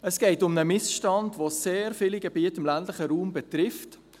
Es geht um einen Missstand, der sehr viele Gebiete im ländlichen Raum betrifft.